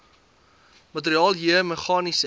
materiaal j meganiese